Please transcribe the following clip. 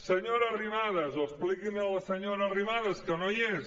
senyora arrimadas o expliquin ho a la senyora arrimadas que no hi és